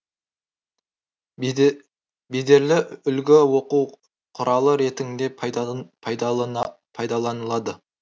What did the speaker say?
бедерлі үлгі оқу құралы ретіңде пайдаланылады